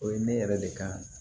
O ye ne yɛrɛ de kan